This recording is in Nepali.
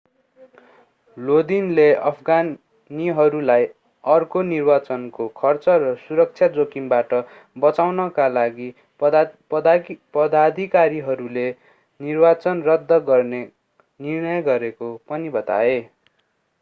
लोदिनले अफगानीहरूलाई अर्को निर्वाचनको खर्च र सुरक्षा जोखिमबाट बचाउनका लागि पदाधिकारीहरूले निर्वाचन रद्द गर्ने निर्णय गरेको पनि बताए